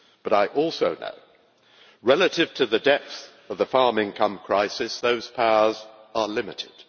I also know that, relative to the depths of the farm income crisis, those powers are limited.